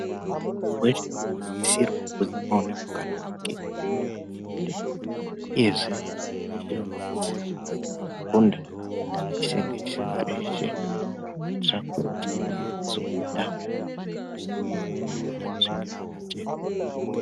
Munhu weshe unosisirwa kuti aone mukana wake wekuti afunde. Izvi munhu weshe unosisirwa kuzi paanofunda aise ngesimba reshe kuitira kuti paanozobuda paanopedza kufunda, zvinge zvakajeka.